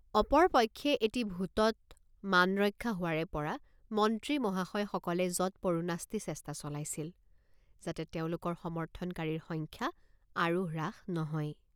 অপৰ পক্ষে এটি ভোটত মানৰক্ষা হোৱাৰেপৰ৷ মন্ত্ৰী মহাশয়সকলে যৎপৰোনাস্তি চেষ্টা চলাইছিল যাতে তেওঁলোকৰ সমৰ্থনকাৰীৰ সংখ্যা আৰু হ্ৰাস নহয়।